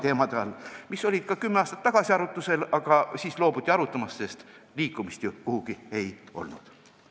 Need olid ka kümme aastat tagasi arutlusel, aga siis loobuti arutamast, sest liikumist ju ei olnud.